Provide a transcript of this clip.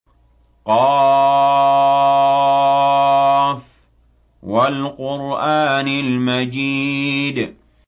ق ۚ وَالْقُرْآنِ الْمَجِيدِ